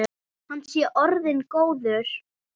Hann sé orðinn góður.